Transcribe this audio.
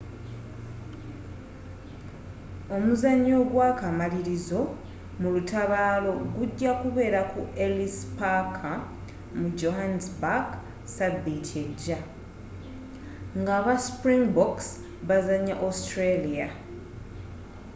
omuzanyo ogwakamalirizo mu lutabaalo gujja kubeera ku ellis paaka mu johannesburg sabiiti ejja nga aba springboks bazanya austalia